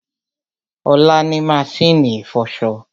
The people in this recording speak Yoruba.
Olá ni maṣínì ìfọṣọ